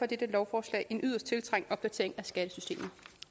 dette lovforslag en yderst tiltrængt opdatering af skattesystemet